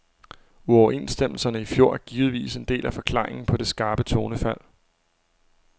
Uoverenstemmelserne i fjor er givetvis en del af forklaringen på det skarpe tonefald.